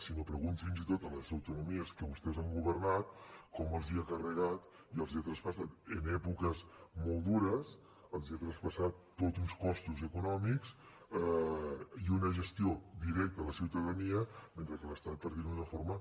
si no pregunti fins i tot a les autonomies que vostès han governat com els ha carregat i els ha traspassat en èpoques molt dures tots uns costos econòmics i una gestió directa a la ciutadania mentre que l’estat per dir ho d’una forma